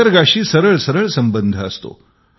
निसर्गाशी सरळसरळ संबंध असतो